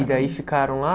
E daí ficaram lá?